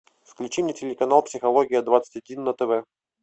включи мне телеканал психология двадцать один на тв